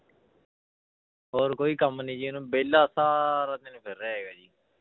ਹੋਰ ਕੋਈ ਕੰਮ ਨੀ ਜੀ ਉਹਨੂੰ ਵਿਹਲਾ ਸਾਰਾ ਦਿਨ ਫਿਰ ਰਿਹਾ ਹੈਗਾ ਜੀ।